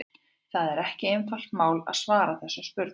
Það er ekki einfalt mál að svara þessum spurningum.